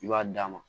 I b'a d'a ma